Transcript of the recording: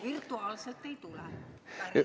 Virtuaalselt ei tule.